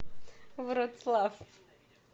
вроцлав